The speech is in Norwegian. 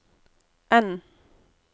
N